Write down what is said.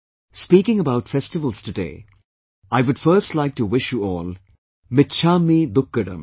Speaking about festivals today, I would first like to wish you all michhamidukkadam